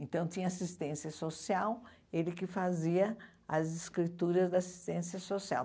Então, tinha assistência social, ele que fazia as escrituras da assistência social.